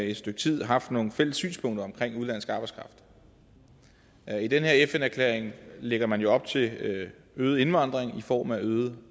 et stykke tid haft nogle fælles synspunkter om udenlandsk arbejdskraft i den her fn erklæring lægger man op til øget indvandring i form af øget